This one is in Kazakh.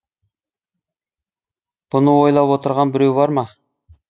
бұны ойлап отырған біреу бар ма